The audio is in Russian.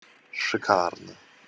шикарно